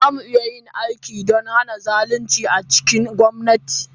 Za mu yi aiki don hana zalunci a cikin gwamnati.